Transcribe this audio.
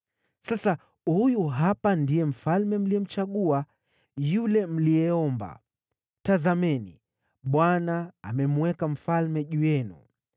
Sasa huyu hapa ndiye mfalme mliyemchagua, yule mliyeomba; tazameni, Bwana amemweka mfalme juu yenu.